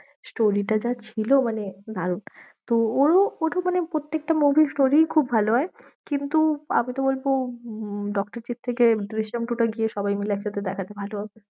Story টা যা ছিল মানে দারুন। তো ওরও ও তো মানে প্রত্যেকটা movie story খুব ভালো হয়। কিন্তু আমিতো বলবো উম ডক্টরজির থেকে দৃশ্যাম two টা গিয়ে সবাই মিলে একসাথে দেখলে ভালো হতো।